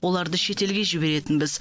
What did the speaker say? оларды шетелге жіберетінбіз